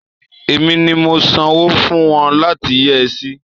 Èmi ni mo sanwó fún wọn láti yẹ́ ẹ sí.